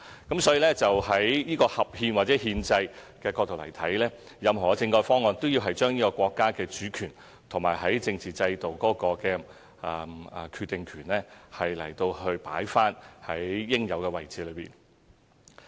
因此，在合憲或憲制的角度而言，任何政改方案都要將國家主權和政治制度的決定權放在應有位置。